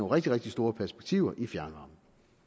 rigtig rigtig store perspektiver i fjernvarmen